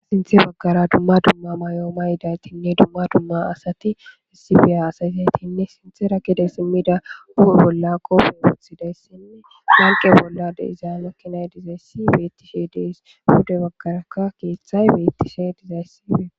sinthe baggara dumma dumma may7ooma yidaytinne dumma dumma asati issibiya asayisaytinne sinthe rakide simmida bolla qopfen woothidayssinne ranqe bolla de iza makkinay dizayssi beetti shi deys hude baggaraka keeththay bettise dizayssibee